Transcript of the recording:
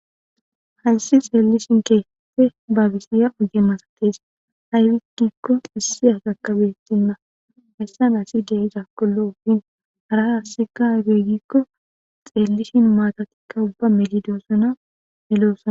Haysi xelishin kehippe babisiza ogge masatees. Aybis gikon issi asika beetena. Haray qase aybe giikon xelishin maatatika melidosona